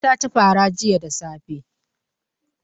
Kande ta ci fara jiya da safe.